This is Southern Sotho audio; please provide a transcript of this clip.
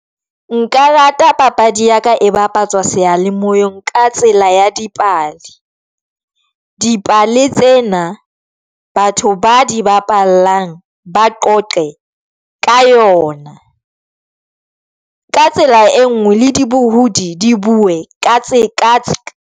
Nka rata papadi ya ka e bapatsa seyalemoyeng ka tsela ya dipale. Dipale tsena batho ba di bapallang ba qoqe ka yona ka tsela e nngwe le dibohodi di bue ka tse .